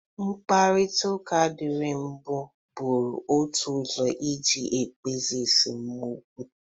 Mkparịtaụka dịri mbụ bụrụ otu ụzọ iji kpezie esemokwu.